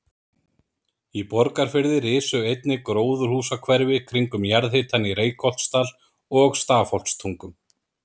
Í Borgarfirði risu einnig gróðurhúsahverfi kringum jarðhitann í Reykholtsdal og Stafholtstungum.